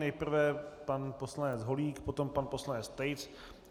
Nejprve pan poslanec Holík, potom pan poslanec Tejc.